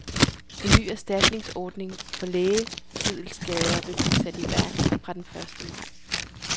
En ny erstatningsordning for lægemiddelskader vil blive sat i værk fra den første maj.